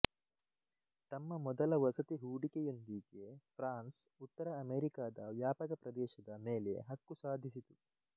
ತಮ್ಮ ಮೊದಲ ವಸತಿ ಹೂಡಿಕೆಯೊಂದಿಗೆ ಫ್ರಾನ್ಸ್ ಉತ್ತರ ಅಮೆರಿಕದ ವ್ಯಾಪಕ ಪ್ರದೇಶದ ಮೇಲೆ ಹಕ್ಕು ಸಾಧಿಸಿತು